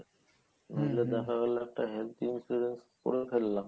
নাইলে দেখা গেলো একটা health insurance করে ফেললাম